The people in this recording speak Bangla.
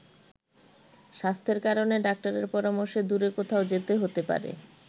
স্বাস্থ্যের কারণে ডাক্তারের পরামর্শে দূরে কোথাও যেতে হতে পারে।